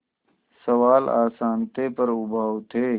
सवाल आसान थे पर उबाऊ थे